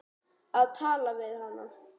Að tala við hana!